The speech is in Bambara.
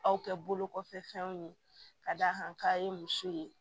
Aw kɛ bolo kɔfɛ fɛnw ye ka d'a kan k'a ye muso ye